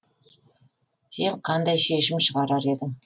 сен қандай шешім шығарар едің